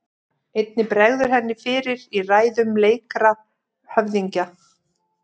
Einnig bregður henni fyrir í ræðum leikra höfðingja.